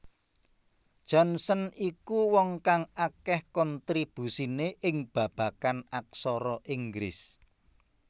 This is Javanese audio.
Johnson iku wong kang akeh kontribusine ing babagan aksara Inggris